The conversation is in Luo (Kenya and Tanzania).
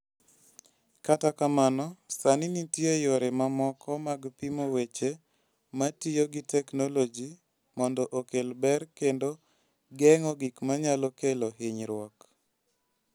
Kata kamano, sani nitie yore mamoko mag pimo weche ma tiyo gi teknoloji mondo okel ber kendo geng'o gik manyalo kelo hinyruok.